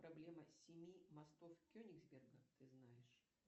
проблема семи мостов кенигсберга ты знаешь